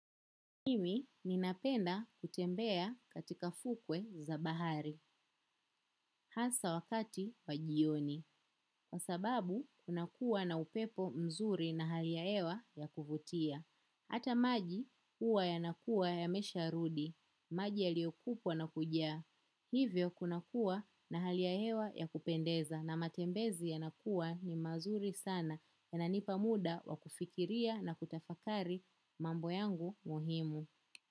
Mimi ninapenda kutembea katika fukwe za bahari, hasa wakati wa jioni, kwa sababu kunakuwa na upepo mzuri na hali ya hewa ya kuvutia. Hata maji huwa yanakuwa yamesha rudi, maji yaliyokupwa na kujaa. Hivyo kunakuwa na hali ya hewa ya kupendeza na matembezi yanakuwa ni mazuri sana yananipa muda wa kufikiria na kutafakari mambo yangu muhimu.